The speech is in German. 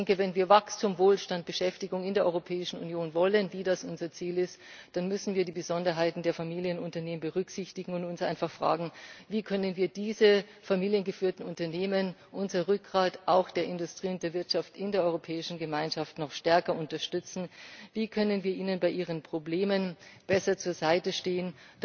Ich denke, wenn wir Wachstum, Wohlstand, Beschäftigung in der Europäischen Union wollen, wie das unser Ziel ist, dann müssen wir die Besonderheiten der Familienunternehmen berücksichtigen und uns einfach fragen Wie können wir diese familiengeführten Unternehmen unser Rückgrat, auch der Industrie und der Wirtschaft in der Europäischen Gemeinschaft noch stärker unterstützen, wie können wir ihnen bei ihren Problemen besser zur Seite stehen?